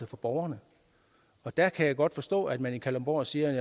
for borgerne der kan jeg godt forstå at man i kalundborg siger